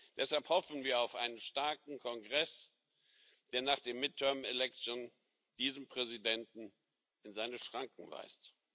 Deshalb hoffen wir auf einen starken Kongress, der nach den midterm elections diesen Präsidenten in seine Schranken weist.